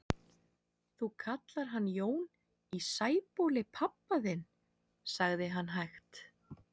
Þú kallar hann Jón í Sæbóli pabba þinn, sagði hann hægt.